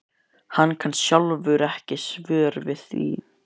Hann kann sjálfur ekki svör við því.